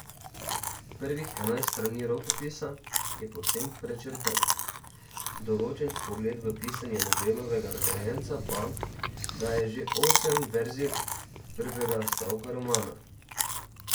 Prvih enajst strani rokopisa je povsem prečrtanih, določen vpogled v pisanje Nobelovega nagrajenca pa daje že osem verzij prvega stavka romana.